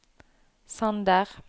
Sander